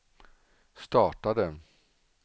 startade